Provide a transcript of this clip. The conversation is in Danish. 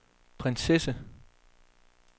prinsesse